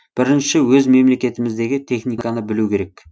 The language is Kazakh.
бірінші өз мемлекетіміздегі техниканы білу керек